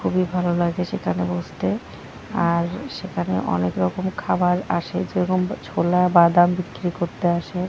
খুবই ভালো লাগে সেখানে বসতে আর সেখানে অনেক রকম খাবার আসে যেরকম ছোলা বাদাম বিক্রি করতে আসে।